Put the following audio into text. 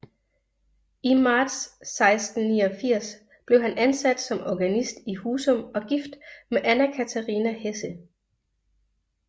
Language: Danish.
I marts 1689 blev han ansat som organist i Husum og gift med Anna Catharina Hesse